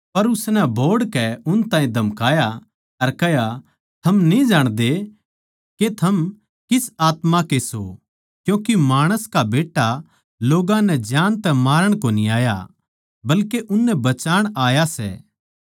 पर उसनै बोहड़कै उन ताहीं धमकाया अर कह्या थम न्ही जाणदे के थम किसी आत्मा के सो क्यूँके माणस का बेट्टा लोग्गां नै जान तै मारण कोनी आया बल्के उननै बचाण आया सै